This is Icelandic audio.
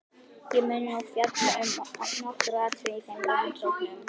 Ég mun nú fjalla um nokkur atriði í þeim rannsóknum.